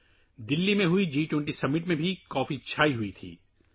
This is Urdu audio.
دہلی میں منعقدہجی – 20سربراہی اجلاس میں بھی کافی کا رواج تھا